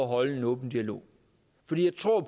holde en åben dialog for jeg tror